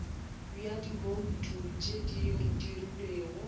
bja dibouto tše di dirilwego